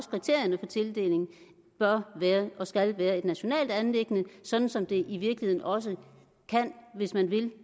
kriterierne for tildeling bør og skal være et nationalt anliggende sådan som det i virkeligheden også kan hvis man vil